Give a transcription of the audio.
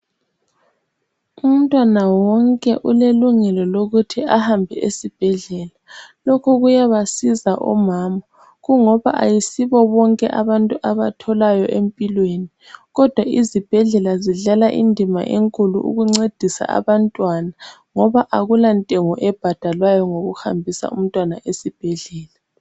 Umntwana wonke ulelungelo lokuthi ahambe esibhedlela. Lokhu kuyabasiza omama ngoba ayisibo bonke abantu abatholayo empilwèni kodwa izibhedlela zidlala indima enkulu ukuncedisa abantwana ngoba akulantengo ebhadalwayo ngokuhambisa umntwana esibhedlela.